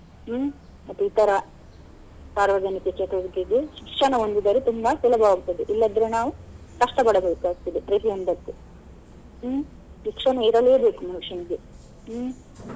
ಹ್ಮ್‌ ಇತರ ಸಾರ್ವಜನಿಕ ಚಟುವಟಿಕೆಗೆ ಶಿಕ್ಷಣ ಒಂದಿದ್ದರೆ ತುಂಬಾ ಸುಲಭವಾಗುತ್ತದೆ ಇಲ್ಲದ್ರೆ ನಾವು ಕಷ್ಟ ಪಡಬೇಕಾಗ್ತದೆ ಪ್ರತಿಯೊಂದಕ್ಕೂ ಹ್ಮ್‌ ಶಿಕ್ಷಣ ಇರಲೇಬೇಕು ಮನುಷ್ಯನಿಗೆ ಹ್ಮ್‌.